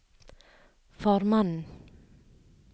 formannen